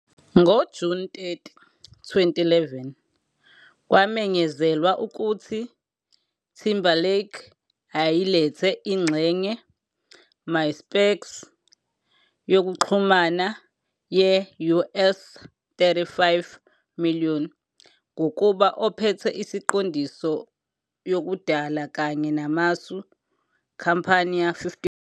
Ngo-June 30, 2011, kwamenyezelwa ukuthi Timberlake ayelithenge ingxenye MySpac yokuxhumana ye US 35 million, ngokuba ophethe isiqondiso yokudala kanye namasu compañía.55